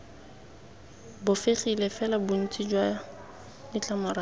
bofegile fela bontsi jwa ditlamorago